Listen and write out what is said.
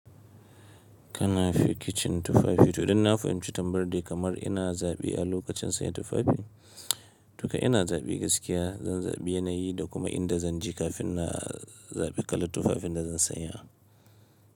Kana fi kicin tufafi to idan na fahimci tambayar dai kamar ina zaɓi a lokacin sayan tufafi. Tuka ina zaɓi gaskiya, zan zaɓi yanayi da kuma inda zan je kafin na zaɓi kalar tufafin da zan sanya.